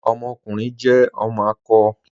Ọmọkùnrin jẹ ọmọ akọ.